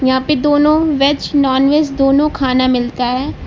यहां पे दोनों वेज नॉन वेज दोनों खाना मिलता है।